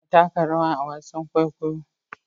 Ana taka rawa a wasan kwaikwayon kwaikwayo